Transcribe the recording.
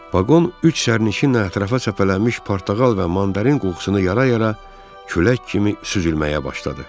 Vaqon üç sərnişinlə ətrafa səpələnmiş portağal və mandarin qoxusunu yara-yara külək kimi süzülməyə başladı.